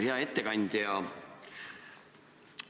Hea ettekandja!